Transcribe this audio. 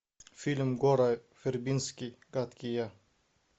фильм гора вербински гадкий я